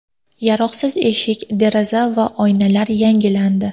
Yaroqsiz eshik, deraza va oynalar yangilandi.